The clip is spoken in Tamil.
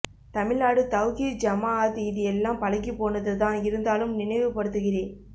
தமிழ்நாடு தௌஹீத் ஜமாஅத் இது எல்லாம் பழகி போனது தான் இருந்தாலும் நினைவு படுத்து கிரேன்